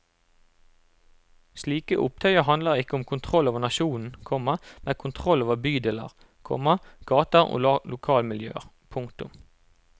Slike opptøyer handler ikke om kontroll over nasjonen, komma men kontroll over bydeler, komma gater og lokalmiljøer. punktum